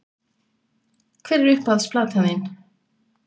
Hver er uppáhalds platan þín????